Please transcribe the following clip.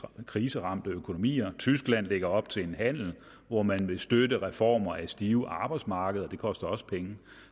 kriseramte økonomier og tyskland lægger op til en handel hvor man vil støtte reformer af stive arbejdsmarkeder og det koster også penge